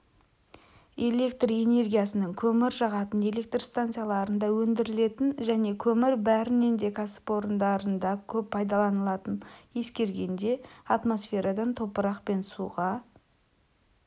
электр энергиясының көмір жағатын электр станцияларында өндірілетінін және көмір бәрінен де кәсіпорындарда көп пайдаланылатынын ескергенде атмосферадан топырақ пен суға